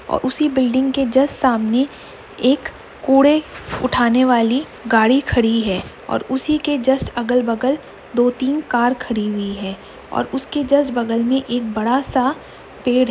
और उसी बिलिंग के जस्ट सामने एक कूड़े उठाने वाली गाड़ी खड़ी है और उसी के जस्ट अगल बगल दो-तीन कार खड़ी हुई हैं और उसके जस्ट बगल में एक बड़ा सा पेड़ --